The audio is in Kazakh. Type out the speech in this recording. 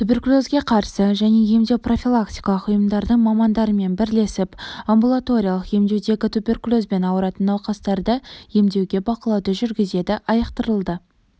туберкулезге қарсы және емдеу-профилактикалық ұйымдардың мамандарымен бірлесіп амбулаториялық емдеудегі туберкулезбен ауыратын науқастарды емдеуге бақылауды жүргізеді айықтырылды